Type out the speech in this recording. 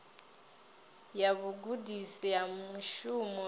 ya vhugudisi ha mushumo i